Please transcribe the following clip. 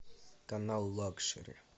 канал лакшери